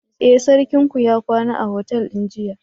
Eh, sarkinku ya kwana a otal din jiya.